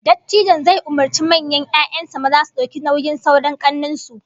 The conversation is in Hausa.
Dattijon zai umurci manyan 'ya'yan sa maza su dauki nauyin sauran kannen su